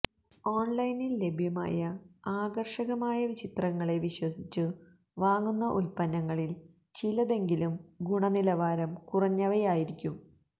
ഓൺലൈനിൽ ലഭ്യമായ ആകർഷക മായ ചിത്രങ്ങളെ വിശ്വസിച്ചു വാങ്ങുന്ന ഉല്പന്നങ്ങളിൽ ചിലതെങ്കിലും ഗുണനിലവാരം കുറഞ്ഞവയായിരിക്കും